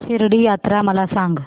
शिर्डी यात्रा मला सांग